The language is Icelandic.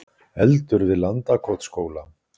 Eldur við Landakotsskóla